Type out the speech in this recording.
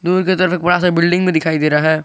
दूर के तरफ एक बड़ा सा बिल्डिंग भी दिखाई दे रहा है।